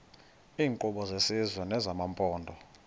iinkqubo zesizwe nezamaphondo